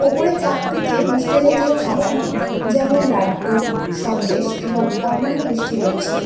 উপরের তাকটিতে মিষ্টি জাতীয় খাবার। যেমন লাড্ডু সন্দেশ এবং অন্যান্য মিষ্টি রয়েছে।